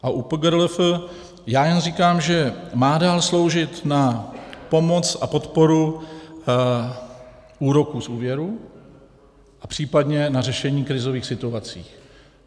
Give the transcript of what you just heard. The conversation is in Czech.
A u PGRLF já jenom říkám, že má dál sloužit na pomoc a podporu úroků z úvěrů a případně na řešení krizových situací.